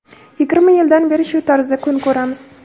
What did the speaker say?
Yigirma yildan beri shu tarzda kun ko‘ramiz.